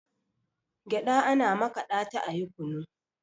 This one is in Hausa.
gyaɗa ana makaɗa ta ayi kunu